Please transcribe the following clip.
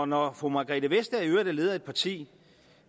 når fru margrethe vestager i øvrigt er leder af et parti